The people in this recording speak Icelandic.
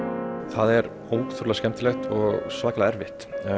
það er ótrúlega skemmtilegt og svakalega erfitt